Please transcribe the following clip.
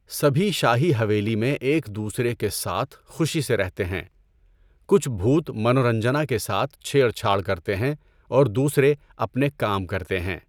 سبھی شاہی حویلی میں ایک دوسرے کے ساتھ خوشی سے رہتے ہیں۔ کچھ بھوت منورنجنا کے ساتھ چھیڑ چھاڑ کرتے ہیں اور دوسرے اپنے کام کرتے ہیں۔